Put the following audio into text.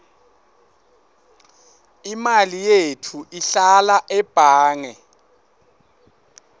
imali yetfu ihlala ebhange